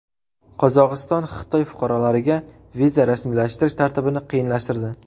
Qozog‘iston Xitoy fuqarolariga viza rasmiylashtirish tartibini qiyinlashtirdi.